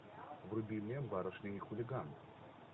вруби мне барышня и хулиган